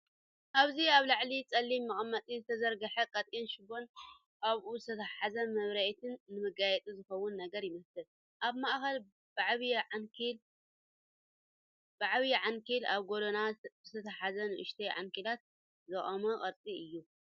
ኣብዚ ኣብ ልዕሊ ጸሊም መቀመጢ ዝተዘርግሐ ቀጢን ሽቦን ኣብኡ ዝተተሓሓዘ መብራህትን፡ ንመጋየጺ ዝኸውን ነገር ይመስል። ኣብ ማእከል ብዓቢ ዓንኬልን ኣብ ጎድኑ ብዝተተሓሓዙ ንኣሽቱ ዓንኬላትን ዝቖመ ቅርጺ እዩ።